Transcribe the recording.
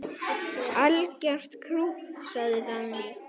Algert krútt, sagði Dagný.